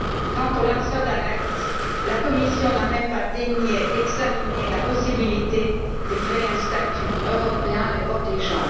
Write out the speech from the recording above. Quant aux lanceurs d'alerte, la Commission n'a même pas daigné examiner la possibilité de créer un statut européen les protégeant.